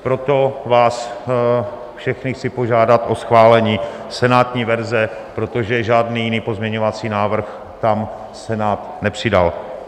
Proto vás všechny chci požádat o schválení senátní verze, protože žádný jiný pozměňovací návrh tam Senát nepřidal.